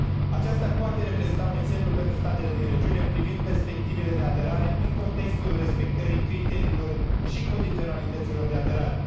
Aceasta poate reprezenta un exemplu pentru statele din regiune privind perspectivele de aderare în contextul respectării criteriilor și condiționalităților de aderare.